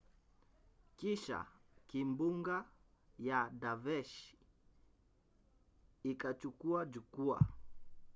kisha kimbunga ya daveshi ikachukua jukua